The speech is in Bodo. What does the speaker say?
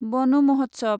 बन महत्सव